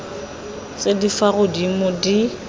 tse di fa godimo di